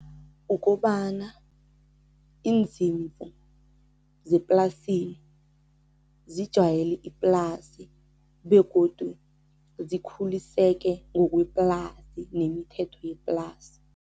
Ukobana izimvu zeplasini zijayele iplasi begodu zikhuliseke ngokweplasi nemithetho yeplasi.